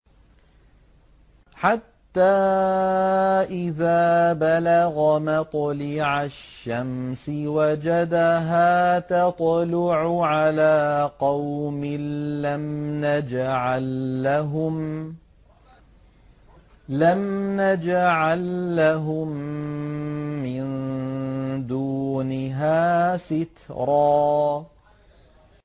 حَتَّىٰ إِذَا بَلَغَ مَطْلِعَ الشَّمْسِ وَجَدَهَا تَطْلُعُ عَلَىٰ قَوْمٍ لَّمْ نَجْعَل لَّهُم مِّن دُونِهَا سِتْرًا